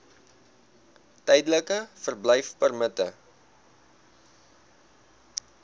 tydelike verblyfpermitte